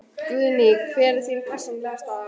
Guðný: Hver er þín persónulega staða?